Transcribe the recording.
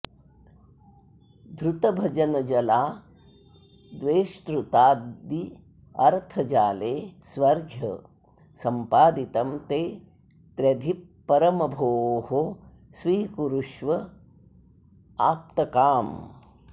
धृतभजनजलाद्वेष्टृताद्यर्थजाले स्वर्घ्यं सम्पादितं ते त्र्यधिप परम भोः स्वीकुरुष्वाप्तकाम